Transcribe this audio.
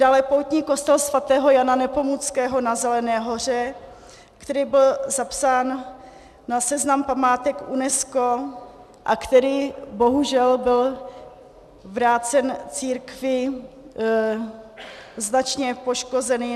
Dále poutní kostel sv. Jana Nepomuckého na Zelené Hoře, který byl zapsán na seznam památek UNESCO a který bohužel byl vrácen církvi značně poškozený.